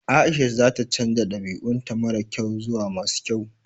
Aisha za ta canza dabi'un ta mara kyau zuwa masu kyau.